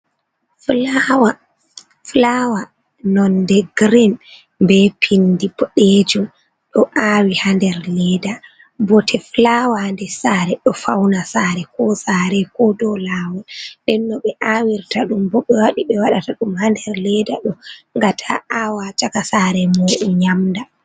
Flawa, flawa nonde girin be pindi boɗeejum. Ɗo awi ha nder leda, bote flawa ha ndes sare ɗo fauna sare ko sare ko dou lawol. Nden no ɓe aawirta ɗum bo ɓe waɗi ɓe waɗata ɗum ha nder leeda ɗo nga ta awa caka sare mo'u nyamda.